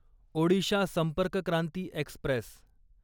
Odisha Sampark Kranti Express